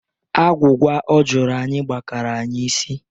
Agwugwa ọ jụrụ anyị gbakara anyị isi.